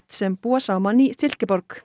sem búa saman í silkeborg